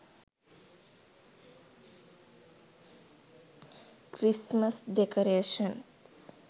christmas decoration